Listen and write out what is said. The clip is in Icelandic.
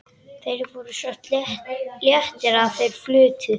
Þeir voru svo léttir að þeir flutu.